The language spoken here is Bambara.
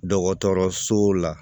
Dɔgɔtɔrɔso la